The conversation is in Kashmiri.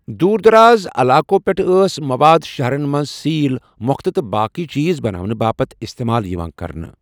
دوٗر دراز علاقو پٮ۪ٹھٕ ٲس مواد شَہرَن منٛز سیٖل، مۄکھتہٕ تہٕ باقٕی چیٖز بناونہٕ باپتھ استعمال یِوان کرنہٕ۔